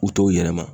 U t'o yɛlɛma